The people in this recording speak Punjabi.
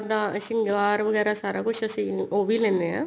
ਨਾ ਸ਼ਿੰਗਾਰ ਵਗੈਰਾ ਸਾਰਾ ਕੁੱਝ ਅਸੀਂ ਉਹ ਵੀ ਲੈਂਨੇ ਆਂ